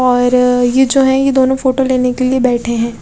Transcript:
और ये जो हैं ये दोनों फोटो लेने के लिए बैठे हैं।